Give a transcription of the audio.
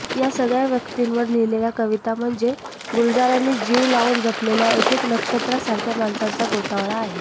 या सगळ्या व्यक्तींवर लिहिलेल्या कविता म्हणजे गुलजारांनी जीव लावून जपलेल्या एकएक नक्षत्रासारख्या माणसांचा गोतावळा आहे